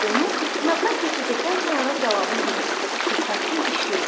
Onu sınaqdan keçirdikdən sonra cavabım budur: Şübhəsiz işləyir.